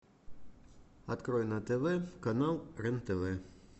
открой на тв канал рен тв